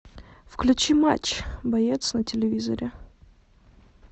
включи матч боец на телевизоре